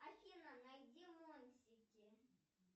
афина найди мультики